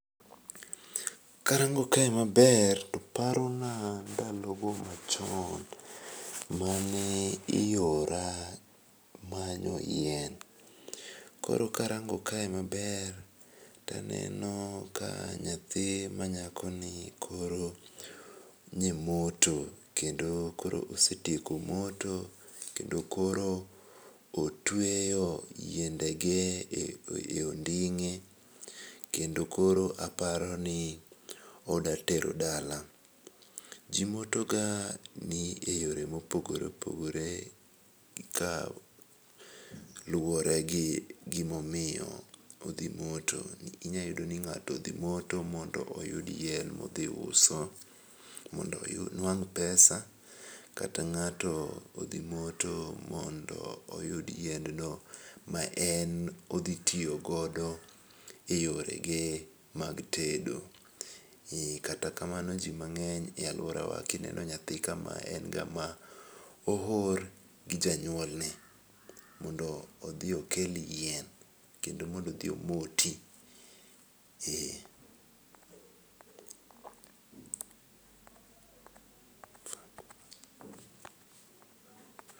Karango kae maber to parona ndalogo machon mane iora manyo yien, koro karango kae maber taneno ka nyathi manyakoni koro nye moto kendo koro osetieko moto kendo koro otweyo yiendege e onding'e, kendo koro aparoni oda tero dala. ji motoga ni e yore mopogore opogore ka luwore gi gimomiyo odhi moto ,inya yudo ni ng'ato dhi moto mondo oyud yien modhi uso, mondo onwang' pesa kata ng'ato odhi moto mondo oyud yiendno ma en odhi tiyo godo e yorege mag tedo, kata kamano ji mang'eny e alworawa kineno nyathi kama en ng'ama oor gi janyuolne mondo odhi okel yien kendo mondo odhi omoti.